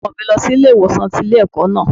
Wọ́n mú ọmọ mi lọ sí ilé ìwòsàn tí ilé ẹ̀kọ́ náà.